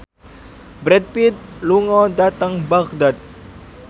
Brad Pitt lunga dhateng Baghdad